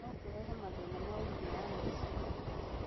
no kũrehe mathĩna ma ũgima wa meciria